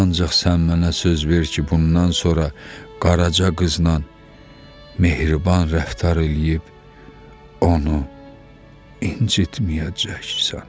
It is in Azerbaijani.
Ancaq sən mənə söz ver ki, bundan sonra qaraca qızla mehriban rəftar eləyib onu incitməyəcəksən.